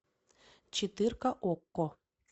четырка окко